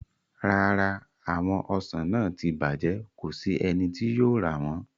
Rara, awọn ọsan naa ti bajẹ, ko si ẹni ti yóò ra wọn